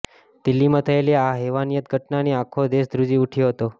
દિલ્હીમાં થયેલી આ હેવાનિયતની ઘટનાથી આખો દેશ ધ્રુજી ઉઠ્યો હતો